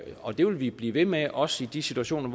og det vil vi blive ved med også i de situationer